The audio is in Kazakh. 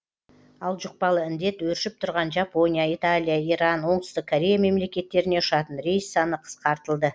ал жұқпалы індет өршіп тұрған жапония италия иран оңтүстік корея мемлекеттеріне ұшатын рейс саны қысқартылды